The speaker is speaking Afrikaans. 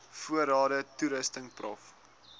voorrade toerusting prof